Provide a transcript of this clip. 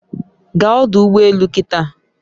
Gaa ọdụ ụgbọ elù kịtà